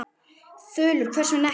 Þulur: Hvers vegna ekki?